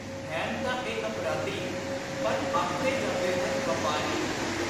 ਹੈਨ ਤਾਂ ਇਹ ਅਪਰਾਧੀ ਪਰ ਆਖੇ ਜਾਂਦੇ ਹਨ ਵਾਪਾਰੀ।